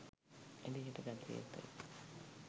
එළියට ගත යුතුයි.